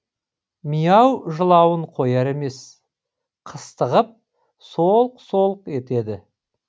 миау жылауын қояр емес қыстығып солқ солқ етеді